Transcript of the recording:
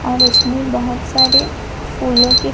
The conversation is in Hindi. और उसमें बहुत सारे फूलों के--